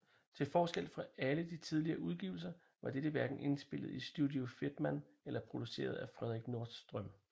Til forskel fra alle de tidligere udgivelser var dette hverken indspillet i Studio Fedman eller produceret af Fredrik Nordström